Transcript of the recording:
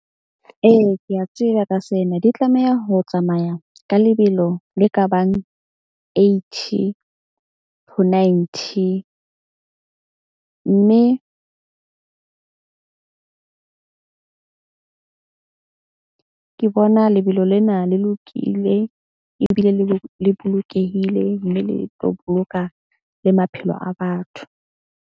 Ee, ke a tseba ka sena di tlameha ho tsamaya ka lebelo le ka bang eighty, ho ninety. Mme ke bona lebelo lena le lokile ebile le bolokehile. Mme le tlo boloka le maphelo a batho.